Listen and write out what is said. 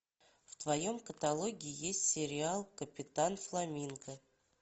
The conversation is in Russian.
в твоем каталоге есть сериал капитан фламинго